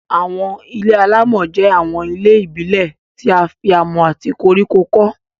Àwọn ilé-alámọ̀ jẹ́ àwọn ilé ìbílẹ̀ tí a fi amọ̀ àti koríko kọ́